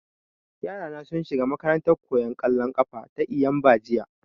Yara na sun shiga makarantan koyan ƙwallon ƙafa ta Eyimba jiya